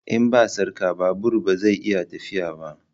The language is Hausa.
In ba sarka babur ba zai iya tafiya ba